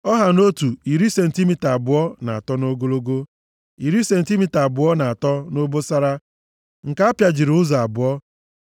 Ọ ha nʼotu, iri sentimita abụọ na atọ nʼogologo, iri sentimita abụọ na atọ nʼobosara; nke apịajiri ụzọ abụọ.